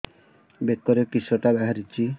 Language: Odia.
ବେକରେ କିଶଟା ବାହାରିଛି